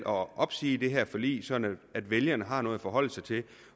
opsige det her forlig sådan at vælgerne har noget at forholde sig til det